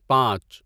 پانچ